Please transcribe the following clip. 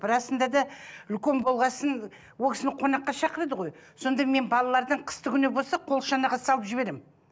расында да үлкен болған соң ол кісіні қонаққа шақырады ғой сонда мен балалардың қыстыгүні болса қолшанаға салып жіберемін